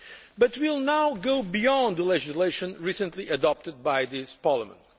But we will now go beyond the legislation recently adopted by this Parliament.